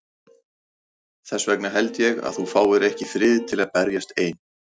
Þess vegna held ég að þú fáir ekki frið til að berjast ein.